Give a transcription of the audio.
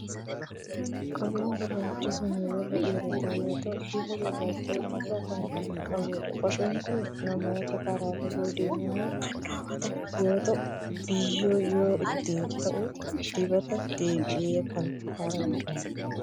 Kopheen gurraachi kun warra dhiirotaa yoo ta'u, bifa gurraacha ifaa kan qabudha. Kopheen kun namoota karaa fagoo deemaniin kan kaawwatamu yoo ta'u, biyyoon yoo itti ta'u dibateen deebi'ee kan haara'udha.